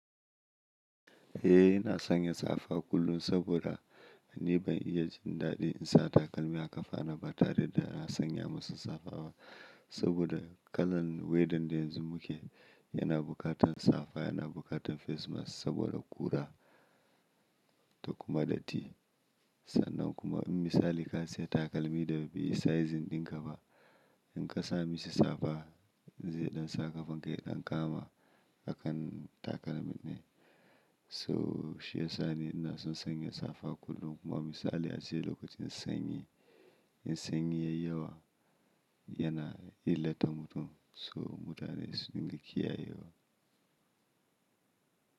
Eh ina sanya safa kullum saboda ni ban iya jin daɗi in sa takalmi a ƙafa na ba tare da na sanya masa safa ba. Saboda kalan weather da yanzu muke yana buƙatar safa yana buƙatar face mask saboda ƙura da kuma ɗatti. Sannan kuma in misali ka saya takalmi da bai yi sizing ɗin ka ba, in ka sami shi safa zai ɗan sa ƙafan kai ɗan kama a kan takalmin ne. So shi ya sa ni ina son sanya safa kullum kuma misali a cikin lokacin sanyi, in sanyi ya yi yawa yana illa ta mutum so mutane sun riƙe kiyaye wa.